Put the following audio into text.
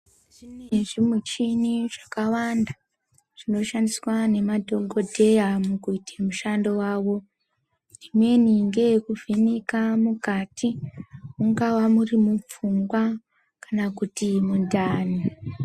Zvimweni zvi muchini zvakawanda zvino shandiswa ne madhokodheya mukuite mushando wawo imweni ngeye kuvheneka mukati mungava muri mu pfungwa kana kuti mundani.